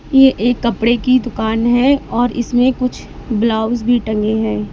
ये एक कपड़े की दुकान है और इसमें कुछ ब्लाउज भी टंगे है।